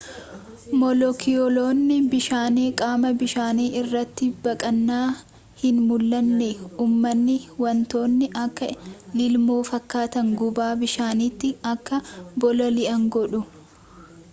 moolekiyuloonni bishaanii qaama bishaanii irratti baqqaana hin mul'anne umanii wantoonni akka lilmoo fakkaatan gubbaa bishaaniitti akka bololi'an godhu